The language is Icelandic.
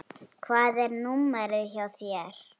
Hvað er númerið hjá þér?